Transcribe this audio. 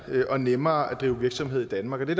og nemmere at drive virksomhed i danmark og det